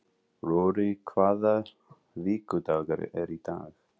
Rorí, hvaða vikudagur er í dag?